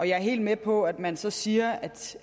jeg er helt med på at man så siger